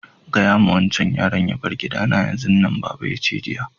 Gaya ma wancan yaron ya bar gida na yanzun nan! baba na ya ce jiya.